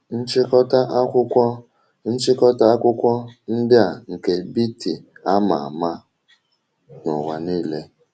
Nchịkọta akwụkwọ Nchịkọta akwụkwọ ndị a nke Beatty ama ama n'ụwa niile.